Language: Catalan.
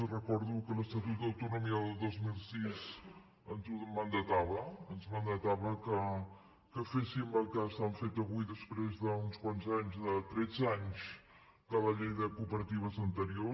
els recordo que l’estatut d’autonomia del dos mil sis ens ho mandatava ens mandatava que féssim el que s’ha fet avui després d’uns quants anys de tretze anys de la llei de cooperatives anterior